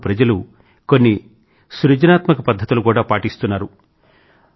ఇందుకోసం ప్రజలు కొన్ని సృజనాత్మక పధ్ధతులు కూడా పాటిస్తున్నారు